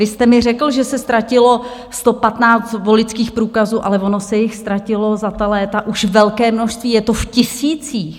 Vy jste mi řekl, že se ztratilo 115 voličských průkazů, ale ono se jich ztratilo za ta léta už velké množství, je to v tisících.